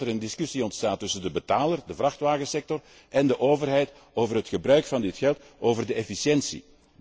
Dus ik hoop dat er een discussie ontstaat tussen de betaler, de vrachtwagensector, en de overheid over het gebruik van dit geld, over de efficiëntie.